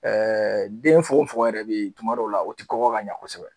den fogofogo yɛrɛ bɛ tuma dɔw la o tɛ kɔgɔ ka ɲa kosɛbɛ.